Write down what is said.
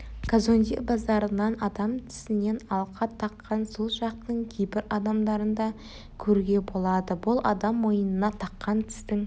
казонде базарынан адам тісінен алқа таққан сол жақтың кейбір адамдарын да көруге болады бұл адам мойнына таққан тістің